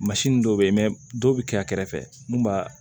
dɔ bɛ yen dɔw bɛ kɛ a kɛrɛfɛ mun b'a